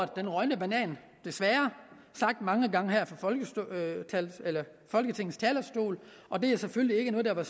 den rådne banan desværre sagt mange gange her fra folketingets talerstol og det er selvfølgelig ikke noget der var